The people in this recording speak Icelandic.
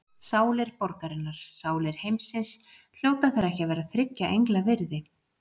Sálir borgarinnar, sálir heimsins, hljóta þær ekki að vera þriggja engla virði?